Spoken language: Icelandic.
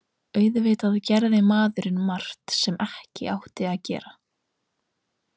Auðvitað gerði maður margt sem ekki átti að gera.